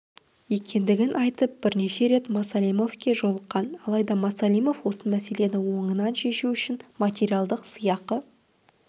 екендігін айтып бірнеше рет масалимовке жолыққан алайда масалимов осы мәселені оынан шешу үшін материалдық сыйақы